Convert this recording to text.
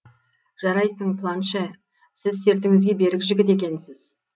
жарайсың планше сіз сертіңізге берік жігіт екенсіз